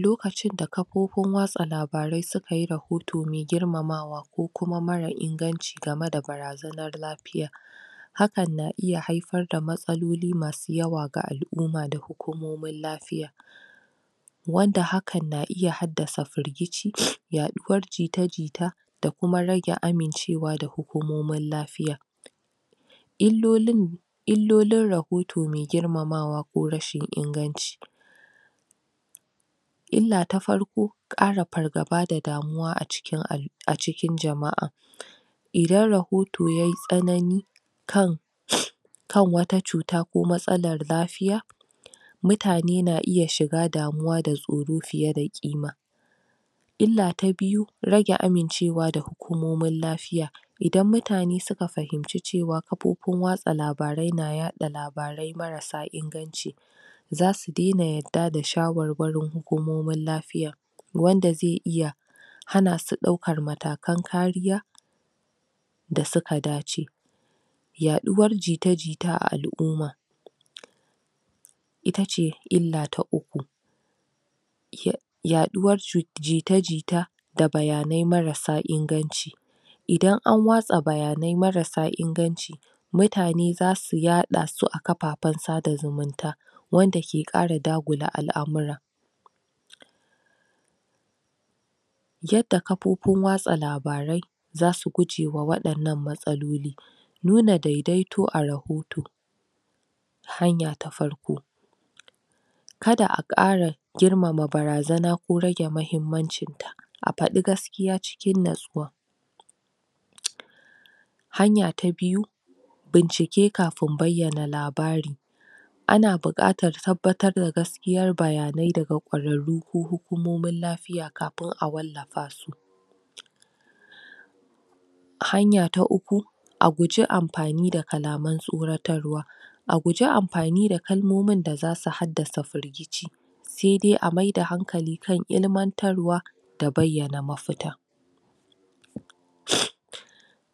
lokachi da kafofin watsa labarai sukaye rahoto mai girmama wa ko kuma mara inganchi gama da barazanar lafiya, haka na; iya haifar da matsalolin masu yawa gaal'ummar hukumomin lafiya, wanda hakan na iya hardasa firgice yaɗa uwar jita jita da kuma rage amincre wa da hukumomin lafiya. illoiln -ilolin rahoto mai girmama wa ko rashin inganchin. ila ta farko; kar fargaba da damu wa acikin jama'a/ ihdan rahoto yayi tsanani kan wata cutar ko matsala lafiya mutane na iya shiga damu da tsoro fiye da kima ila ta biyu:rage amince wa da hukumomin lafiya; idan mutane suka fahimce cewa kafofin watsa labarai na yaɗa labarai marasa inganci zasu daina yarda da shawarwarin hukumomin lafiyar wanda zai iya hana su ɗaukan matakan kariya dasuka dace yaɗuwar jita_jita a al'umma! itace ila ta uku. yaduwar jita_jita da bayanai marasa inganci, idan an watsa bayanai marasa inganci mutane zasu yaɗa su a ƙafafan sabunta zumunta, wanda ke kara dagula al'amurra. Yada kafofin watsa labarai zasu guji wa wadan na matsaloli, nuna daidaito a rahoto: hanya ta farko: kada a kara girmama barazana ko rage Muhimmanci ta, a fadi gaskiya cikin natsuwa, ah Hanya ta biyu bincike kafin bayana labari ana bukatar tabbatar da gaskiyar bayanai daga kwararru ko hukumomin lafiya Kafin a wala fa su.? hanya ta uku: A guji anfani da kalaman tsoratar wa a guji anfani da kalmomin da zasu hada sa firgice sai dai a maida hankali kan ilmantar wa da bayana mafita.?